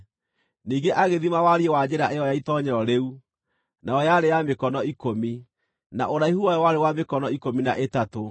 Ningĩ agĩthima wariĩ wa njĩra ĩyo ya itoonyero rĩu, nayo yarĩ ya mĩkono ikũmi, na ũraihu wayo warĩ wa mĩkono ikũmi na ĩtatũ.